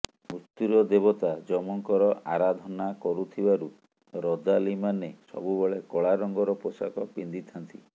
ମୃତ୍ୟୁର ଦେବତା ଯମଙ୍କର ଅରାଧନା କରୁଥିବାରୁ ରଦାଲି ମାନେ ସବୁବେଳେ କଳା ରଙ୍ଗର ପୋଷାକ ପିନ୍ଧିଥାନ୍ତି